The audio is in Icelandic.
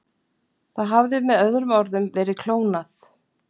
Það hafði með öðrum orðum verið klónað.